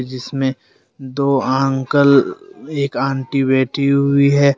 जिसमें दो अंकल एक आंटी बैठी हुई हैं।